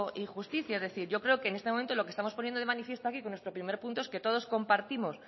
y justicia es decir yo creo que en este momento lo que estamos poniendo de manifiesto aquí con nuestro primer punto es que todos compartimos